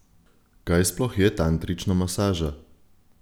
Kaj sploh je tantrična masaža?